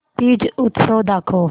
तीज उत्सव दाखव